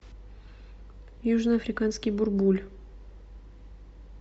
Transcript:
южноафриканский бурбуль